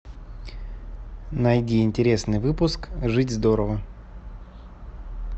найди интересный выпуск жить здорово